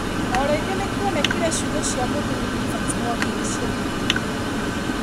O rĩngĩ nĩkwonekire ciugo cia mũthuri Evans Mwangi nĩcĩahũthĩrĩrio.